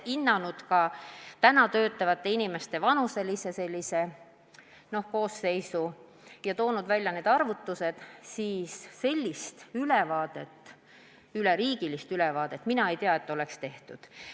On hinnatud ka praegu töötavate inimeste vanuselist koosseisu, aga teie küsitud üleriigilist ülevaadet minu teada ei ole tehtud.